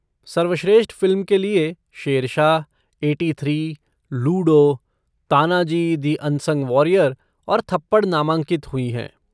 सर्वश्रेष्ठ फ़िल्म के लिए Shershaah, eighty three, Ludo, Tanhaji the unsung warrior और थप्पड़ नामांकित हुई हैं।